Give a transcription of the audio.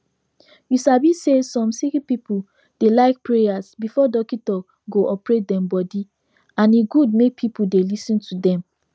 u sabi say som sicki pipu de like prayas befor dockito go operate dem body and e gud make pple dey lis ten to dem